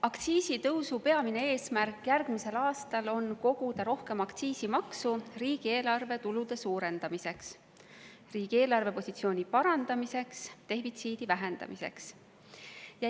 Aktsiisitõusu peamine eesmärk järgmisel aastal on koguda rohkem aktsiisimaksu riigieelarve tulude suurendamiseks, riigieelarve positsiooni parandamiseks ja defitsiidi vähendamiseks.